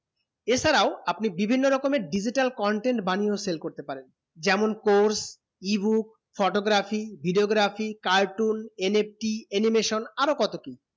এর ছাড়াও আপনি বিভিন্ন রকমে digital content বানিয়ে করতে পারেন যেমন course ebook photography videography cartoon NFT animation আরও কত কি